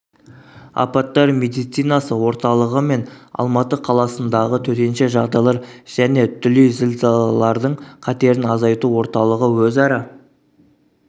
апаттар медицинасы орталығы мен алматы қаласындағы төтенше жағдайлар және дүлей зілзалалардың қатерін азайту орталығы өзара